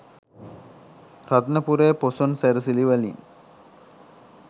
රත්නපුරේ පොසොන් සැරසිලි වලින්